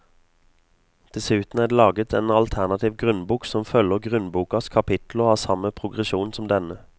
Dessuten er det laget en alternativ grunnbok som følger grunnbokas kapitler og har samme progresjon som denne.